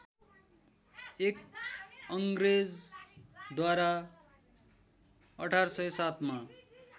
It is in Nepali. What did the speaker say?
एक अङ्ग्रेजद्वारा १८०७मा